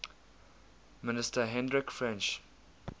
minister hendrik frensch